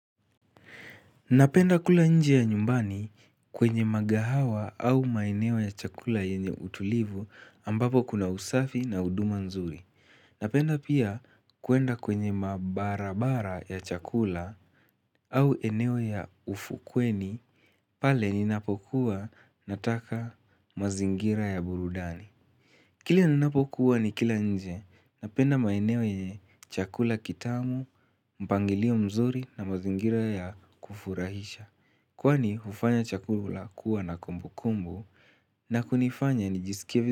Napenda kula nje ya nyumbani kwenye magahawa au maeneo ya chakula yenye utulivu ambapo kuna usafi na huduma nzuri. Napenda pia kuenda kwenye mabarabara ya chakula au eneo ya ufukweni pale ninapokuwa nataka mazingira ya burudani. Kile ninapokuwa nikila nje napenda maeneo yenye chakula kitamu, mpangilio mzuri na mazingira ya kufurahisha. Kwani hufanya chakula kuwa na kumbukumbu na kunifanya nijisikie vizu.